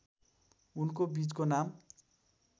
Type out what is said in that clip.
उनको बीचको नाम